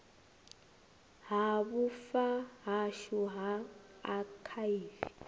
ha vhufa hashu ha akhaivi